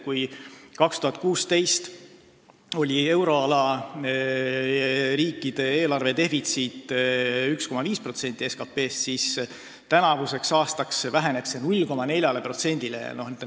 Kui 2016. aastal oli euroala riikide eelarvedefitsiit 1,5% SKT-st, siis tänavu väheneb see 0,4%-ni.